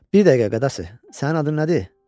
Bir dəqiqə qadası, sənin adın nədir?